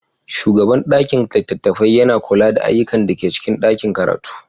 Shugaban ɗakin littatafai yana kula da ayyukan da ke cikin ɗakin karatu.